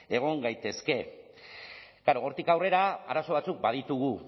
egon gaitezke klaro hortik aurrera arazo batzuk baditugu